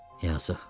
Yazıq.